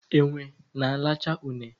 Enwe na alacha une